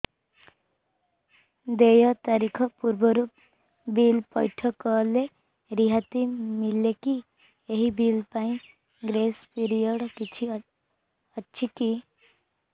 ଦେୟ ତାରିଖ ପୂର୍ବରୁ ବିଲ୍ ପୈଠ କଲେ ରିହାତି ମିଲେକି ଏହି ବିଲ୍ ପାଇଁ ଗ୍ରେସ୍ ପିରିୟଡ଼ କିଛି ଅଛିକି